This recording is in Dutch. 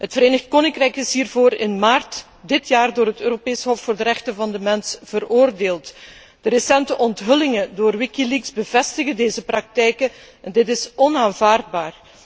Het Verenigd Koninkrijk is hiervoor in maart dit jaar door het Europees Hof voor de rechten van de mens veroordeeld. De recente onthullingen door Wikileaks bevestigen deze praktijken, en deze zijn onaanvaardbaar.